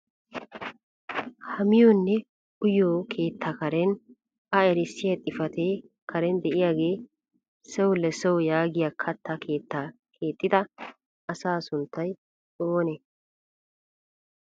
Ha miyonne uyiyo keettaa karen a erissiyaa xifaatee karen de'iyaagee "sew le sew" yaagiyaa katta keettaa kexxida asaa sunttay oonee?